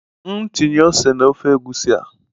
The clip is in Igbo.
M tinye ose na ofe egusi a?